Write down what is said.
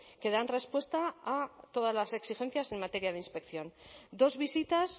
que dan respuesta a todas las exigencias en materia de inspección dos visitas